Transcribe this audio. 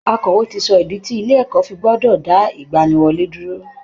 Akọ̀wé ti sọ ìdí tí ilé ẹ̀kọ́ fi gbọ́dọ̀ dá ìgbaniwọlé dúró